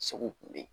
Segu kun bɛ yen